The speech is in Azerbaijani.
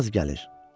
Yaz gəlir.